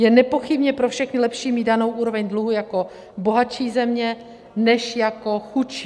Je nepochybně pro všechny lepší mít danou úroveň dluhu jako bohatší země než jako chudší.